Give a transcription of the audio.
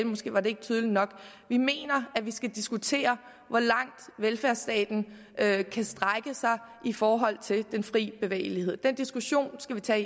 måske var det ikke tydeligt nok vi mener at vi skal diskutere hvor langt velfærdsstaten kan strække sig i forhold til den fri bevægelighed den diskussion skal vi tage